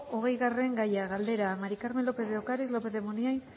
hogeigarren gaia galdera maría del carmen lopéz de ocariz lópez de munain